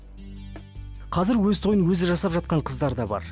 қазір өз тойын өзі жасап жатқан қыздар да бар